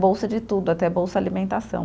bolsa de tudo, até bolsa alimentação.